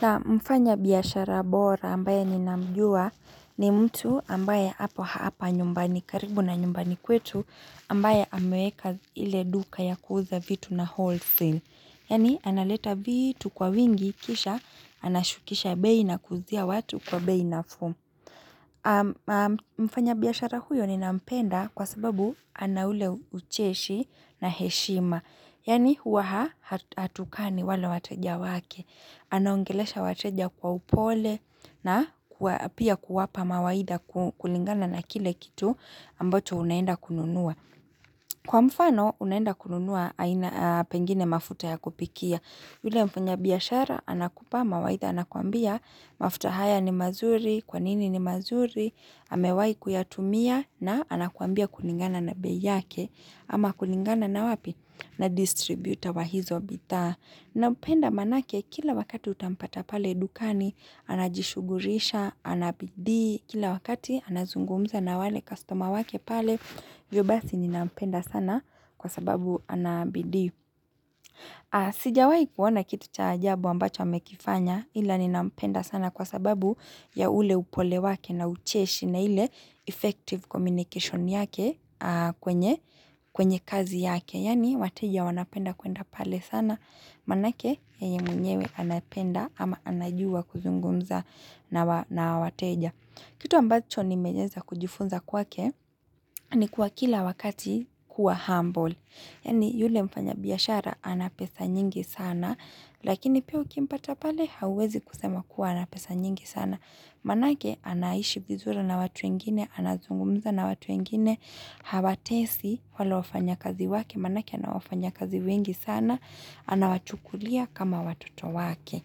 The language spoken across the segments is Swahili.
Naam mfanya biashara bora ambaye ninamjua ni mtu ambaye hapa hapa nyumbani karibu na nyumbani kwetu ambaye ameweka ile duka ya kuuza vitu na wholesale. Yani analeta vitu kwa wingi kisha anashukisha bei na kuuzia watu kwa bei na fuu. Mfanya biashara huyo ninampenda kwa sababu ana ule ucheshi na heshima. Yani huwa hatukani wale wateja wake. Anaongelesha wateja kwa upole na pia kuwapa mawaidha kulingana na kile kitu ambacho unaenda kununua. Kwa mfano, unaenda kununua pengine mafuta ya kupikia. Yule mfanya biashara, anakupa, mawaidha anakwambia, mafuta haya ni mazuri, kwanini ni mazuri, amewai kuyatumia, na anakwambia kulingana na bei yake, ama kulingana na wapi, na distributor wa hizo bidhaa. Na mpenda manake kila wakati utampata pale dukani, anajishugurisha, anabidii, kila wakati anazungumza na wale customer wake pale, hivyo basi ni nampenda sana kwa sababu anabidii. Sijawai kuona kitu cha ajabu ambacho amekifanya ila ni nampenda sana kwa sababu ya ule upole wake na ucheshi na ile effective communication yake kwenye kazi yake. Yaani wateja wanapenda kuenda pale sana, manake yeye mwenyewe anapenda ama anajua kuzungumza na wateja. Kitu ambacho nimeweza kujifunza kwake ni kuwa kila wakati kuwa humble. Yani yule mfanya biashara ana pesa nyingi sana, lakini pia ukimpata pale hauwezi kusema kuwa anapesa nyingi sana. Manake anaishi vizuri na watu wengine, anazungumza na watu wengine, hawa tesi wale wafanya kazi wake, manake anawafanya kazi wengi sana, anawachukulia kama watoto wake.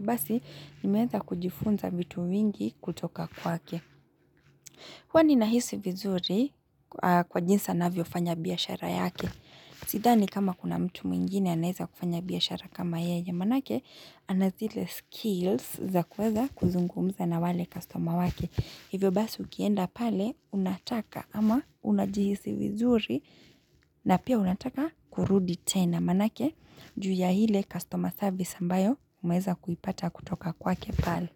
Basi nimeweza kujifunza vitu vingi kutoka kwake. Huwa ni nahisi vizuri kwa jinsi anavyofanya biashara yake. Sidhani kama kuna mtu mwingine anaeza kufanya biashara kama yeye manake anazile skills za kuweza kuzungumza na wale customer wake. Hivyo basi ukienda pale unataka ama unajihisi vizuri na pia unataka kurudi tena manake juu ya hile customer service ambayo umeeza kuipata kutoka kwake pale.